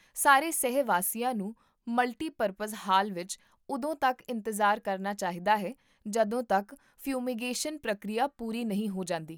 ਸਾਰੇ ਸਹਿ ਵਾਸੀਆਂ ਨੂੰ ਮਲਟੀਪਰਪਜ਼ ਹਾਲ ਵਿੱਚ ਉਦੋਂ ਤੱਕ ਇੰਤਜ਼ਾਰ ਕਰਨਾ ਚਾਹੀਦਾ ਹੈ ਜਦੋਂ ਤੱਕ ਫਿਊਮੀਗੇਸ਼ਨ ਪ੍ਰਕਿਰਿਆ ਪੂਰੀ ਨਹੀਂ ਹੋ ਜਾਂਦੀ